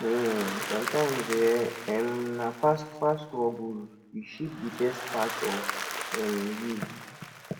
um somtimes um um na past past struggles dey shape di best part of um you